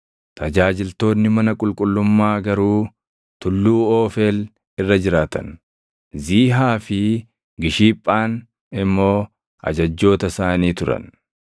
Tajaajiltoonni mana qulqullummaa garuu tulluu Oofeel irra jiraatan; Ziihaa fi Gishiphaan immoo ajajjoota isaanii turan.